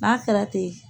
N'a kɛra ten